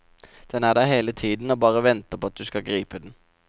Den er der hele tiden og bare venter på at du skal gripe den.